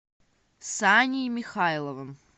саней михайловым